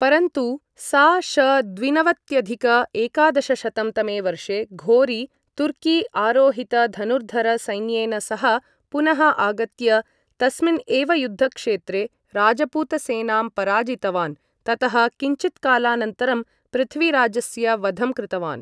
परन्तु, सा.श.द्विनवत्यधिक एकादशशतं तमे वर्षे घोरी, तुर्की आरोहित धनुर्धर सैन्येन सह पुनः आगत्य तस्मिन् एव युद्धक्षेत्रे राजपूत सेनाम् पराजितवान्, ततः किञ्चित्कालानन्तरं पृथ्वीराजस्य वधं कृतवान्।